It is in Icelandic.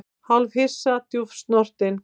Hálfhissa og djúpt snortinn